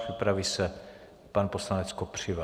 Připraví se pan poslanec Kopřiva.